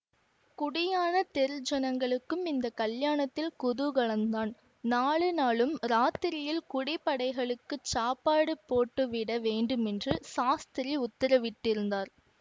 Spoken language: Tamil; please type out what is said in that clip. குடியானத் தெரு ஜனங்களுக்கும் இந்த கல்யாணத்தில் குதூகலந்தான் நாலு நாளும் இராத்திரியில் குடி படைகளுக்குச் சாப்பாடு போட்டு விட வேண்டுமென்று சாஸ்திரி உத்தரவிட்டிருந்தார்